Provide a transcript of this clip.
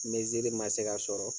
Ni zili ma se ka sɔrɔ